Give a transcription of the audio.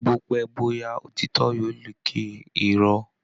Bópẹ́ bóyá òtítọ́ yóò lékè Irọ́